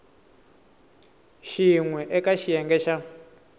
xin we eka xiyenge xa